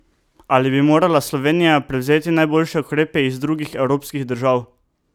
Ali bi morala Slovenija prevzeti najboljše ukrepe iz drugih evropskih držav?